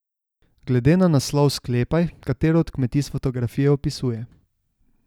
Glede na naslov sklepaj, katero od kmetij s fotografij opisuje.